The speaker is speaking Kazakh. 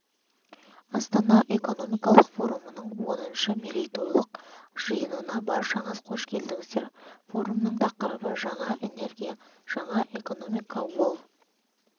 астана экономикалық форумының оныншы мерейтойлық жиынына баршаңыз қош келдіңіздер форумның тақырыбы жаңа энергия жаңа экономика ол